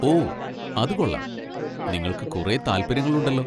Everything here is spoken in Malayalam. ഓ, അത് കൊള്ളാം, നിങ്ങൾക്ക് കുറേ താൽപ്പര്യങ്ങളുണ്ടല്ലോ.